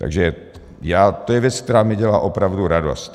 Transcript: Takže to je věc, která mi dělá opravdu radost.